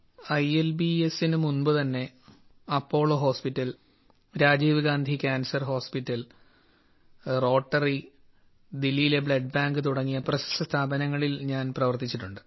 I L B എസിന് മുമ്പുതന്നെ Apollo hospital Rajiv Gandhi cancer hospital Rotary ദില്ലിയിലെ ബ്ലഡ് ബാങ്ക് തുടങ്ങിയ പ്രശസ്ത സ്ഥാപനങ്ങളിൽ ഞാൻ പ്രവർത്തിച്ചിട്ടുണ്ട്